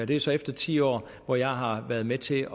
det er så efter ti år hvor jeg har været med til